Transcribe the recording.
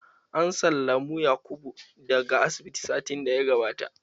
An sallamu Yakubu da ga asibiti satin da ya gabata